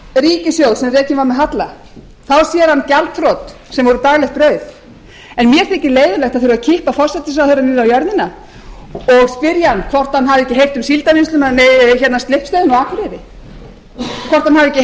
ríkissjóð sem rekinn var með halla þá sér hann gjaldþrot sem voru daglegt brauð en mér þykir leiðinlegt að þurfa að kippa forsætisráðherra niður á jörðina og spyrja hann hvort hann hafi ekki heyrt um slippstöðina á akureyri hvort hann hafi ekki